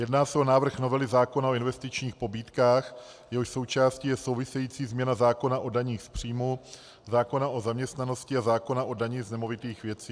Jedná se o návrh novely zákona o investičních pobídkách, jehož součástí je související změna zákona o daních z příjmu, zákona o zaměstnanosti a zákona o dani z nemovitých věcí.